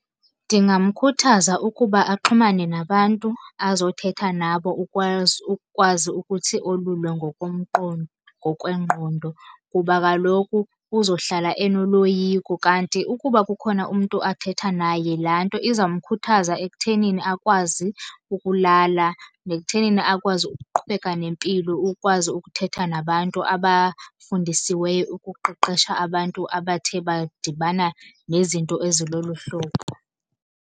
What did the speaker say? Ndingamkhuthaza ukuba axhumane nabantu azothetha nabo ukukwazi ukuthi olulwe ngokwengqondo. Kuba kaloku uzohlala enoloyiko. Kanti ukuba kukhona umntu athetha naye laa nto izawumkhuthaza ekuthenini akwazi ukulala. Nekuthenini akwazi ukuqhubeka nempilo, ukwazi ukuthetha nabantu abafundisiweyo ukuqeqesha abantu abathe badibana nezinto ezilolu hlobo.